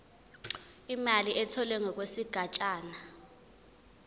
imali etholwe ngokwesigatshana